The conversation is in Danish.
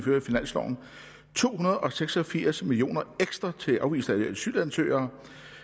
to hundrede og seks og firs million kroner ekstra til afviste asylansøgere